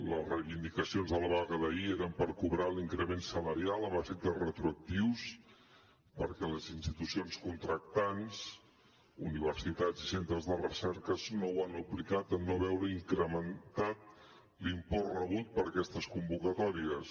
les reivindicacions de la vaga d’ahir eren per cobrar l’increment salarial amb efectes retroactius perquè les institucions contractants universitats i centres de recerca no ho han aplicat en no veure incrementat l’import rebut per aquestes convocatòries